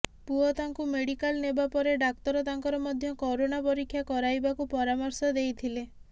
ପୁଅ ତାଙ୍କୁ ମେଡିକାଲ ନେବା ପରେ ଡାକ୍ତର ତାଙ୍କର ମଧ୍ୟ କରୋନା ପରୀକ୍ଷା କରାଇବାକୁ ପରାମର୍ଶ ଦେଇଥିଲେ